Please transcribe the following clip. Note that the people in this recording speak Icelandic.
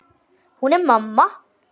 Hún er mamma.